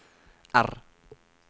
R